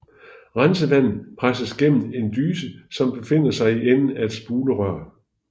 Rensevandet presses gennem en dyse som befinder sig i enden af et spulerør